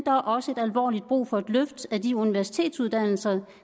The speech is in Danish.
er også alvorligt brug for et løft af de universitetsuddannelser